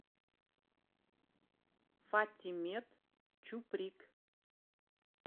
фатимет чуприк